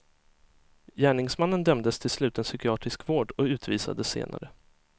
Gärningsmannen dömdes till sluten psykiatrisk vård och utvisades senare.